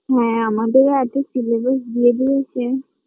হ্যাঁ আমাদেরও আজকে Syllabus দিয়ে দিয়েছে